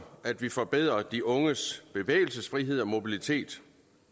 at vi forbedrer de unges bevægelsesfrihed og mobilitet